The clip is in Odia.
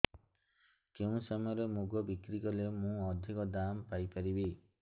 କେଉଁ ସମୟରେ ମୁଗ ବିକ୍ରି କଲେ ମୁଁ ଅଧିକ ଦାମ୍ ପାଇ ପାରିବି